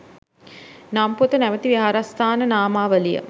නම් පොත නමැති විහාරස්ථාන නාමාවලිය